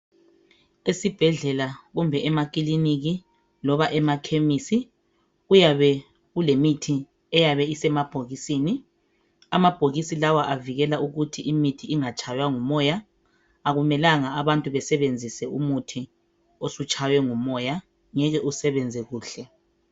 Esibhedlela, kumbe emakiliniki, loba emakhemisi, kuyabe kulemithi eyabe isemabhokisini. Amabhokisi lawa avikeka ukuthi amaphilisi amgatshaywa ngumoya. Akumelanga ukuthi abantu basebenzise umuthi osutshawe ngumoya. Ungeke usebenze kuhle.